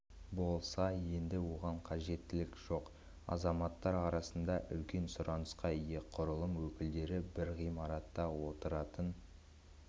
болса енді оған қажеттілік жоқ азаматтар арасында үлкен сұранысқа ие құрылым өкілдері бір ғимаратта отыратын